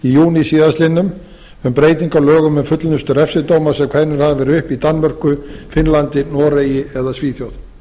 júní síðastliðnum um breytingu á lögum um fullnustu refsidóma sem kveðnir hafa verið upp í danmörku finnlandi noregi eða svíþjóð